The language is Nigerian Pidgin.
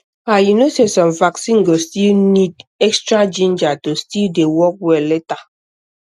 ah you know say some vaccine go need extra ginger to still dey work well later